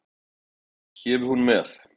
Gefi hún með!